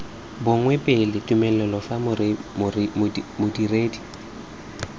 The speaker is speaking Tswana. bonwe pele tumelelo fa modiredi